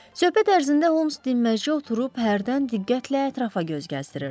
Söhbət ərzində Holmes dimdəci oturub hərdən diqqətlə ətrafa göz gəzdirirdi.